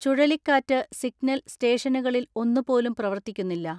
ചുഴലിക്കാറ്റ് സിഗ്നൽ സ്റ്റേഷനുകളിൽ ഒന്നുപോലും പ്രവർത്തിക്കുന്നില്ല.